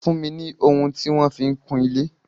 Fún mi ni ohun tí wọ́n fi ń kun ilé.